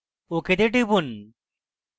ok তে টিপুন